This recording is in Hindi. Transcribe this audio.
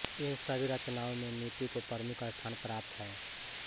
इन सभी रचनाओं में नीति को प्रमुख स्थान प्राप्त है